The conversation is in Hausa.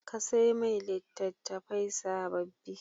Ka sai mai litattafai sababbi.